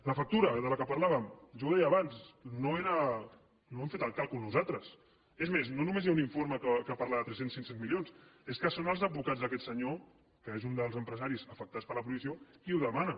la factura de què parlàvem jo ho deia abans no hem fet el càlcul nosaltres és més no només hi ha un informe que parla de tres cents cinc cents milions és que són els advocats d’aquest senyor que és un dels empresaris afectats per la prohibició qui ho demana